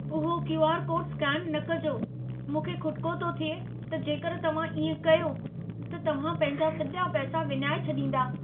उहो QR. Code scan न कजो। मूंखे खुटिको थो थिए त जेकर तव्हां इएं कयो, त तव्हां पंहिंजा सॼा पैसा विञाए छॾींदा।